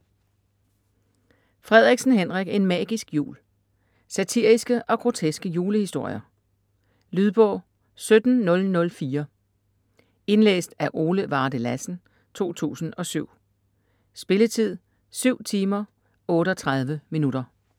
Frederiksen, Henrik: En magisk jul Satiriske og groteske julehistorier. Lydbog 17004 Indlæst af Ole Varde Lassen, 2007. Spilletid: 7 timer, 38 minutter.